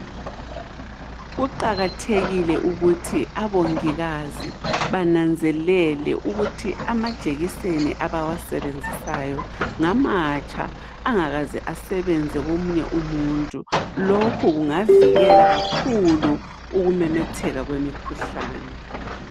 Kuqakathekile ukuthi abongikazi bananzelele ukuthi amajekiseni abawasebenzisayo ngamatsha, angakaze asebenze komunye umuntu, lokho kungavikela kakhulu ukumemetheka kwemikhuhlane.